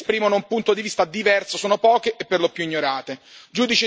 Le voci che esprimono un punto di vista diverso sono poche e per lo più ignorate.